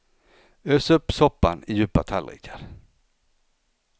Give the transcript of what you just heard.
Ös upp soppan i djupa tallrikar.